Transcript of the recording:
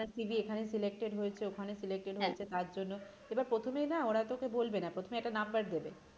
আপনার এখানে selected হয়েছে ওখানে selected হয়েছে তার জন্য এবার প্রথমেই না ওরা তোকে বলবে না প্রথমে একটা number দেবে